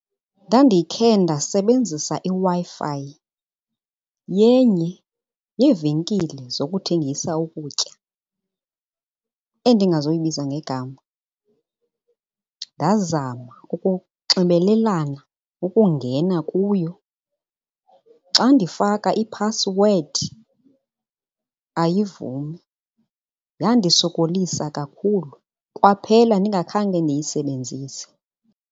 Ndandikhe ndasebenzisa iWi-Fi yenye yeevenkile zokuthengisa ukutya endingazoyibiza ngegama. Ndazama ukunxibelelana ukungena kuyo, xa ndifaka iphasiwedi ayivumi. Yandisokolisa kakhulu kwaphela ndingakhange ndiyisebenzise.